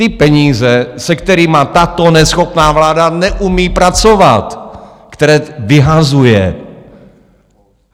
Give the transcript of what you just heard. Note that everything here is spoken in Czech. Ty peníze, se kterými tato neschopná vláda neumí pracovat, které vyhazuje.